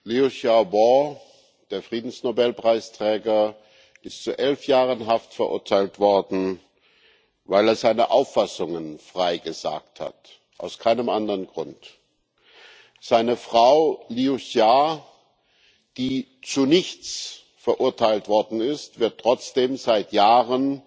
Liu Xiaobo, der Friedensnobelpreisträger, ist zu elf Jahren Haft verurteilt worden, weil er seine Auffassungen frei gesagt hat aus keinem anderen Grund. Seine Frau Liu Xia, die zu nichts verurteilt worden ist, wird trotzdem seit Jahren